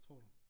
Tror du?